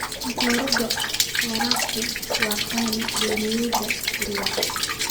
Matoorada waraabku waa qaali beeralayda yaryar.